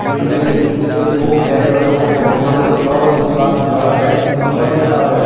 Building एक building पे दो टैंक रखे हुए हैं। पानी का प्याउ पे एक आदमी खड़ा है एक खंभा दिख रहा है।